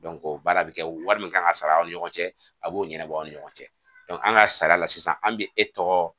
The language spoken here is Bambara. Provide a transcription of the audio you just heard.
o baara bɛ kɛ wari min kan ka sara aw ni ɲɔgɔn cɛ a b'o ɲɛnabɔ aw ni ɲɔgɔn cɛ an ka sara la sisan an bɛ e tɔgɔ